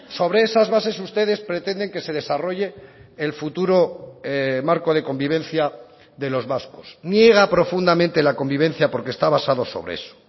sobre esas bases ustedes pretenden que se desarrolle el futuro marco de convivencia de los vascos niega profundamente la convivencia porque está basado sobre eso